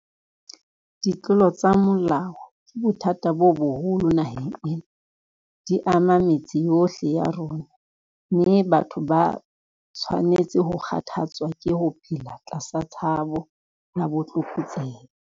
Ditlolo tsa molao ke bothata bo boholo naheng ena. Di ama metse yohle ya rona, mme batho ba a tshwanetse ho kgathatswa ke ho phela tlasa tshabo ya ditlokotsebe.